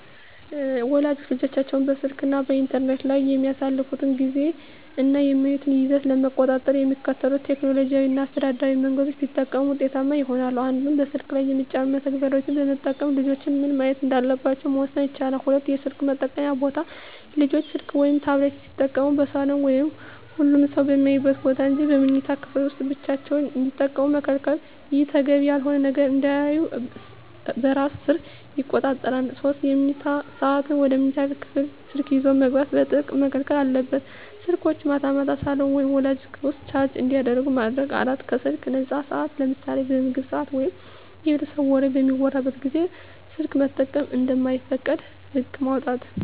ወላጆች ልጆቻቸው በስልክ እና በኢንተርኔት ላይ የሚያሳልፉትን ጊዜ እና የሚያዩትን ይዘት ለመቆጣጠር የሚከተሉትን ቴክኖሎጂያዊ እና አስተዳደራዊ መንገዶች ቢጠቀሙ ውጤታማ ይሆናል፦ 1)ስልኩ ላይ የሚጫኑ መተግበሪያዎችን በመጠቀም ልጆች ምን ማየት እንዳለባቸው መወሰን ይቻላል። 2)የስልክ መጠቀምያ ቦታ: ልጆች ስልክ ወይም ታብሌት ሲጠቀሙ በሳሎን ወይም ሁሉም ሰው በሚያይበት ቦታ እንጂ በመኝታ ክፍል ውስጥ ብቻቸውን እንዳይጠቀሙ መከልከል። ይህ ተገቢ ያልሆነ ነገር እንዳያዩ በራስ ሰር ይቆጣጠራል። 3)የመኝታ ሰዓት: ወደ መኝታ ክፍል ስልክ ይዞ መግባት በጥብቅ መከልከል አለበት። ስልኮች ማታ ማታ ሳሎን ወይም ወላጆች ክፍል ውስጥ ቻርጅ እንዲደረጉ ማድረግ። 4)ከስልክ ነፃ ሰዓታት: ለምሳሌ በምግብ ሰዓት ወይም የቤተሰብ ወሬ በሚወራበት ጊዜ ስልክ መጠቀም እንደማይፈቀድ ህግ ማውጣት።